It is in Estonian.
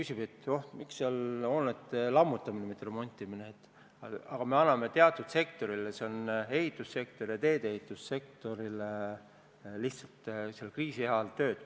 Kui keegi küsib, miks seal on öeldud "hoonete lammutamine", mitte "remontimine", siis asi on selles, et me anname teatud sektoritele – ehitus- ja teedeehitussektorile – kriisi ajal lihtsalt tööd.